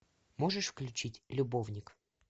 можешь включить любовник